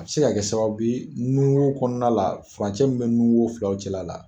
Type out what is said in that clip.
A bɛ se ka kɛ sababu ye nun wo kɔnɔna la furancɛ min bɛ nun wo filaw cɛ la,